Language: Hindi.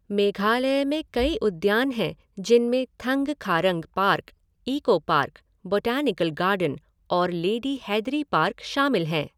मेघालय में कई उद्यान हैं जिनमें Thangkharang park, eco park, botanical garden और लेडी हैदरी पार्क शामिल हैं।